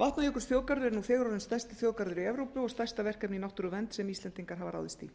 vatnajökulsþjóðgarður er nú þegar orðinn stærsti þjóðgarður evrópu og stærsta verkefni í náttúruvernd sem íslendingar hafa ráðist í